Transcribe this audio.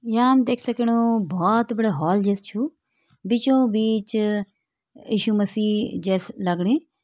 यहाँ हम देख सकणो बहोत बड़ा हॉल जैसे छु बीचों बीच अ-यीशु मसीह जैसे लगणी।